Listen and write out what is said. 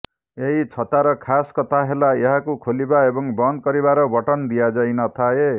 ଏହି ଛତାର ଖାସ୍ କଥା ହେଲା ଏହାକୁ ଖୋଲିବା ଏବଂ ବନ୍ଦ କରିବାର ବଟନ ଦିଆଯାଇ ନଥାଏ